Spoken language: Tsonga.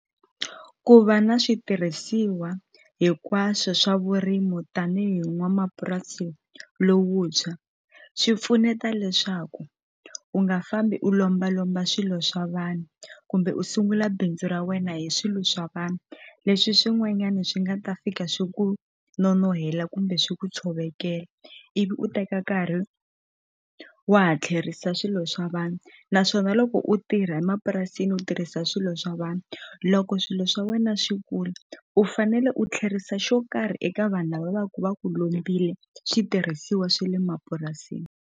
Ku va na switirhisiwa hinkwaswo swa vurimu tanihi n'wamapurasi lowutshwa swi pfuneta leswaku u nga fambi u lombalomba swilo swa vanhu kumbe u sungula bindzu ra wena hi swilo swa vanhu leswi swin'wanyani swi nga ta fika swi ku nonohela kumbe swi ku tshovekela ivi u teka nkarhi wa ha tlherisa swilo swa vanhu naswona loko u tirha emapurasini u tirhisa swilo swa vanhu loko swilo swa wena swi kula u fanele u tlherisa xo karhi eka vanhu lava va ku va ku lombile switirhisiwa swa le mapurasini.